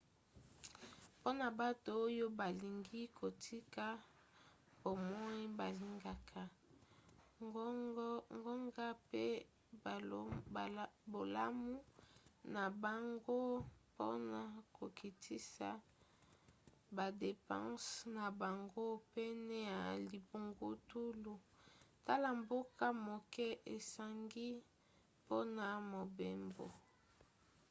mpona bato oyo balingi kotika bomoi balingaka ngonga mpe bolamu na bango mpona kokitisa badepanse na bango pene ya libungutulu tala mbongo moke esengi mpona mobembo